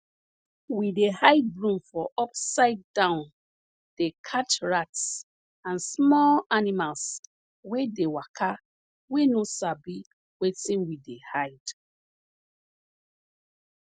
we dey hide broom for upside down dey catch rats and small animals wey dey waka wey no sabi wetin we dey hide